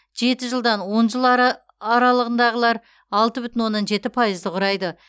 жеті жылдан он жыл аралығындағылар алты бүтін оннан жеті пайызды құрайды